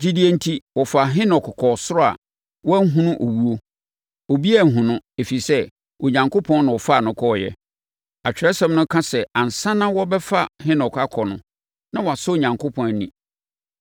Gyidie enti, wɔfaa Henok kɔɔ ɔsoro a wanhunu owuo. Obiara anhunu no, ɛfiri sɛ, Onyankopɔn na ɔfaa no kɔeɛ. Atwerɛsɛm no ka sɛ ansa na wɔrebɛfa Henok akɔ no, na wasɔ Onyankopɔn ani.